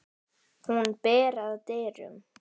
Hún ber að dyrum.